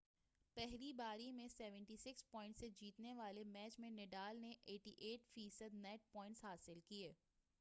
پہلی باری میں 76 پوائنٹس سے جیتنے والے میچ میں نڈال نے %88 نیٹ پوائنٹس حاصل کیے۔